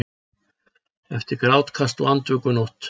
Eftir grátkast og andvökunótt.